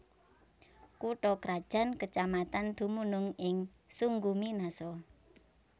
Kutha krajan kecamatan dumunung ing Sungguminasa